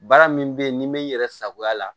Baara min bɛ ye n'i m'i yɛrɛ sagoya la